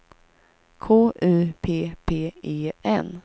K U P P E N